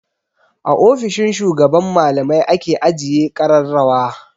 A ofishin shugaban malamai ake ajiye ƙararrawa.